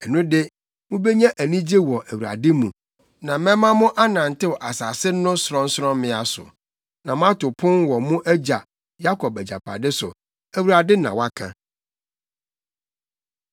ɛno de mubenya anigye wɔ Awurade mu na mɛma mo anantew asase no sorɔnsorɔmmea so na moato pon wɔ mo agya Yakob agyapade so.” Awurade na waka.